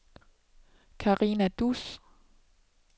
Karina Duus